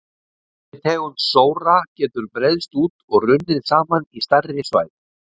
Þessi tegund sóra getur breiðst út og runnið saman í stærri svæði.